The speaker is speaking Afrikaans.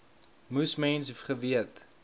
moes mens geweet